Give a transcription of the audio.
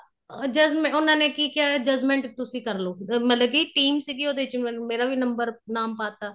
judgment ਉਹਨਾ ਨੇ ਕੀ ਕਿਆ judgment ਤੁਸੀਂ ਕਰਲੋ ਮਤਲਬ ਕੀ team ਸੀਗੀ ਉਹਦੇ ਚ ਮੇਰਾ ਵੀ number ਨਾਮ ਪਾ ਤਾਂ